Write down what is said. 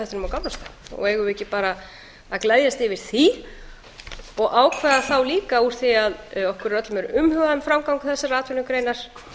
á gamlárskvöld eigum við ekki bara að gleðjast yfir því og ákveða þá líka úr því að okkur öllum er umhugað um framgang þessar atvinnugreinar